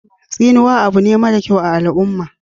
Tsinuwa abu ne mara kyau a al'uma